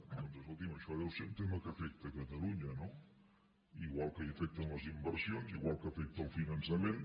doncs escolti’m això deu ser un tema que afecta catalunya no igual que hi afecten les inversions igual que afecta el finançament